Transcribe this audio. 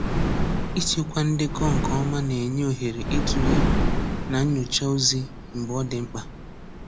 Ịchekwa ndekọ nke ọma na-enye ohere itule na nnyocha ozi mgbe ọ dị mkpa.